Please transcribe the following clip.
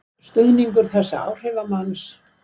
Stuðningur þessa áhrifamanns